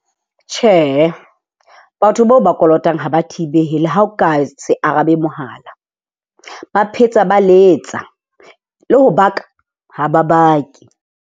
Tjhe, batho bao o ba kolotang ha ba thibehe le ha o ka se arabe mohala, ba phetsa ba letsa, le ho baka ha ba bake.